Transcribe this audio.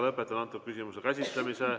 Lõpetan antud küsimuse käsitlemise.